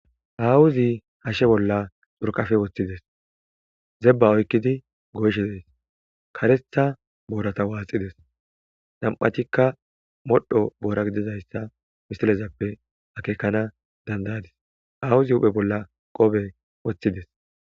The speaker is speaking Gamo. awuzi hashshe bolla xurqafe woththides zebba oykkidi goyshedes karetha boorata waaxides nam7atikka modho boora gidizayssa misilezappe akeekana dandayadis awuzi huphe bolla qobe woththides